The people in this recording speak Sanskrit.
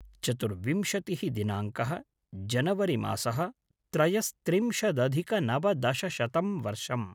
चतुर्विंशतिः दिनाङ्कः-जनवरिमासः-त्रयस्त्रिंशदधिकनवदशशतं वर्षम्